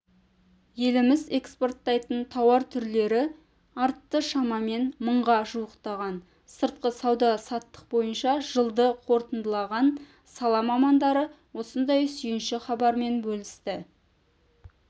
еліміз экспорттайтын тауар түрлері артты шамамен мыңға жуықтаған сыртқы сауда-саттық бойынша жылды қорытындылаған сала мамандары осындай сүйінші хабармен бөлісті